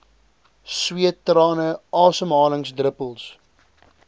sweet trane asemhalingsdruppels